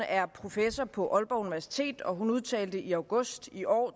er professor på aalborg universitet og hun udtalte i august i år